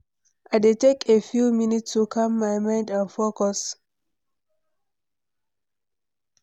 I dey take a few minutes to calm my mind and focus.